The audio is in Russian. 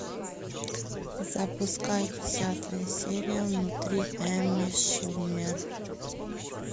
запускай десятую серию внутри эми шумер